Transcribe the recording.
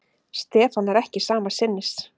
Stefán er ekki sama sinnis.